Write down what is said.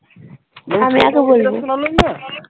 আমি আগে বলবো।